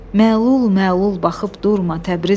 Məlul-məlul baxıb durma, Təbrizim!